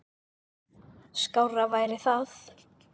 Skárra væri það.